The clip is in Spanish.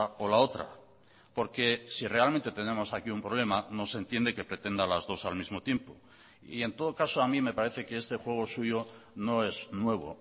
o la otra porque si realmente tenemos aquí un problema no se entiende que pretenda las dos al mismo tiempo y en todo caso a mi me parece que este juego suyo no es nuevo